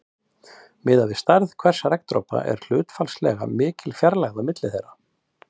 Miðað við stærð hvers regndropa er hlutfallslega mikil fjarlægð á milli þeirra.